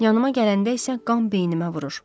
Yanıma gələndə isə qan beynimə vurur.